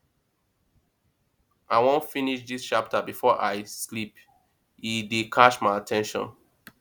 i wan finish dis chapter before i sleep e dey catch my at ten tion